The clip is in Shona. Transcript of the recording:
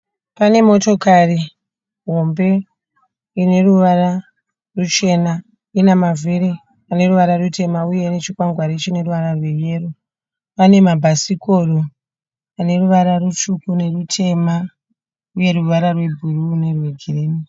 Pane motokati hombe ine ruvara ruchena, ina mavhiri ane ruvara rutema uye nechikwangwani chine ruvara rweyero. Pane mabhasikoro ane ruvara rutsvuku nerutema uye ruvara rwebhuru nerwe girini.